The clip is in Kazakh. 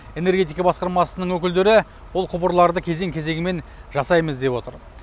энергетика басқармасының өкілдері бұл құбырларды кезең кезегімен жасаймыз деп отыр